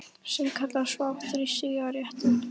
Sem kalla svo aftur á sígarettu.